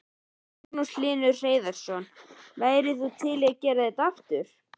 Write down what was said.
Magnús Hlynur Hreiðarsson: Værirðu til í að gera þetta aftur?